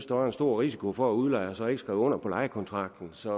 der var en stor risiko for at udlejer så ikke skrev under på lejekontrakten så